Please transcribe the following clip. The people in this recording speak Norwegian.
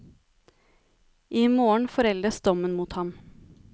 I morgen foreldes dommen mot ham.